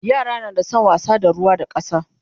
yara na San wasa da ruwa da ƙasa